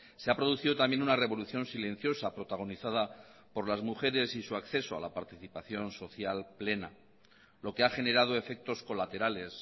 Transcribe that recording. se ha producido también una revolución silenciosa protagonizada por las mujeres y su acceso a la participación social plena lo que ha generado efectos colaterales